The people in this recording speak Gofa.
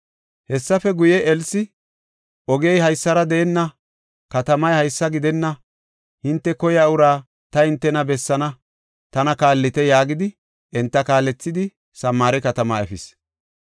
Hessafe guye, Elsi, “Ogey haysara deenna; katamay haysa gidenna. Hinte koyiya uraa ta hintena bessaana; tana kaallite” yaagidi, enta kaalethidi, Samaare katamaa efis.